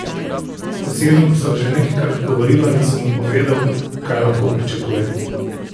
Z Edom sva že nekajkrat govorila in sem mu povedal, kaj lahko pričakuje.